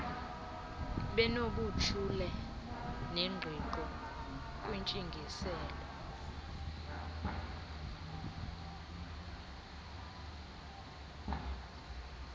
benobuchule nengqiqo kwintsingiselo